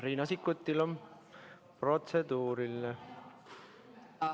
Riina Sikkutil on protseduuriline küsimus.